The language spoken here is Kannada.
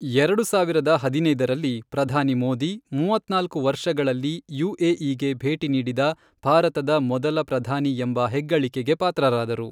ಎರಡು ಸಾವಿರದ ಹದಿನೈದರಲ್ಲಿ, ಪ್ರಧಾನಿ ಮೋದಿ, ಮೂವತ್ನಾಲ್ಕು ವರ್ಷಗಳಲ್ಲಿ ಯುಎಇಗೆ ಭೇಟಿ ನೀಡಿದ ಭಾರತದ ಮೊದಲ ಪ್ರಧಾನಿ ಎಂಬ ಹೆಗ್ಗಳಿಕೆಗೆ ಪಾತ್ರರಾದರು.